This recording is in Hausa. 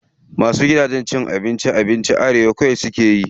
Wasu gidajen cin abincin abinci arewa kawai suke yi.